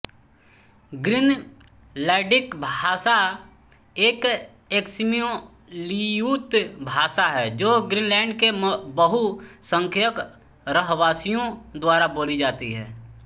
Greenlandic भाषा एक Eskimo Aleut भाषा है जो ग्रीनलैंड के बहुसंख्यक रहवासियों द्वारा बोली जाती है